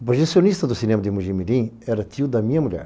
O projecionista do cinema de Mugimirim era tio da minha mulher.